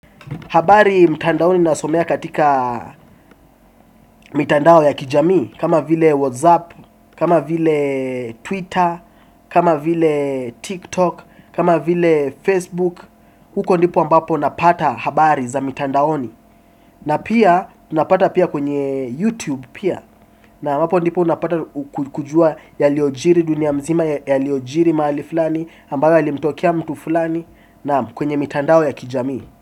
Habari mtandaoni nasomea katika mitandao ya kijamii, kama vile Whatsapp, kama vile Twitter, kama vile TikTok, kama vile Facebook. Huko ndipo mbapo napata habari za mitandaoni. Na pia, tunapata pia kwenye YouTube pia. Na hapo ndipo napata kujua yaliojiri dunia mzima, yaliojiri mahali fulani, ambayo yalimtokea mtu fulani, naam kwenye mitandao ya kijamii.